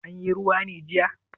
Anyi ruwa ne jiya?